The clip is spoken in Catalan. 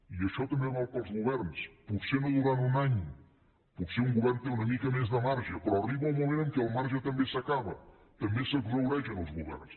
i això també val per als governs potser no durant un any potser un govern té una mica més de marge però arriba un moment en què el marge també s’acaba també s’exhaureixen els governs